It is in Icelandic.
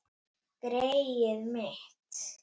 Greyið mitt